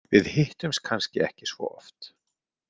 Við hittumst kannski ekki svo oft.